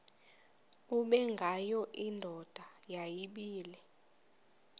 ubengwayo indoda yayibile